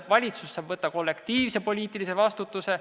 Valitsus saab võtta kollektiivse poliitilise vastutuse.